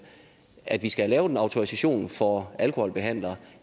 at vi skal have lavet en autorisation for alkoholbehandlere